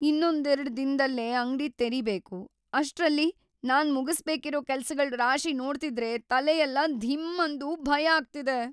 ಇನ್ನೊಂದೆರ್ಡ್ ದಿನ್ದಲ್ಲೇ ಅಂಗ್ಡಿ ತೆರಿಬೇಕು‌, ಅಷ್ಟ್ರಲ್ಲಿ ನಾನ್ ಮುಗಿಸ್ಬೇಕಿರೋ ಕೆಲ್ಸಗಳ್‌ ರಾಶಿ ನೋಡ್ತಿದ್ರೆ ತಲೆಯೆಲ್ಲ ಧಿಮ್‌ ಅಂದು ಭಯ ಆಗ್ತಿದೆ.